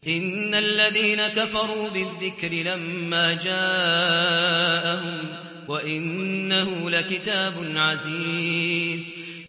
إِنَّ الَّذِينَ كَفَرُوا بِالذِّكْرِ لَمَّا جَاءَهُمْ ۖ وَإِنَّهُ لَكِتَابٌ عَزِيزٌ